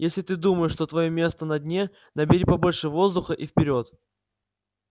если ты думаешь что твоё место на дне набери побольше воздуха и вперёд